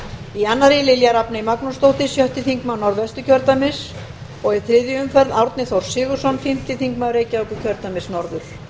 í annarri lilja rafney magnúsdóttir sjötti þingmaður norðvesturkjördæmis og í þriðju umferð árni þór sigurðsson fimmti þingmaður reykjavíkurkjördæmis norður